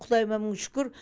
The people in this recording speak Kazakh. құдайыма мың шүкір